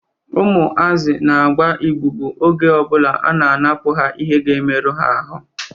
Ụmụazị na-agba ịbubu oge ọbụla a na-anapụ ha ihe ga-emerụ ha ahụ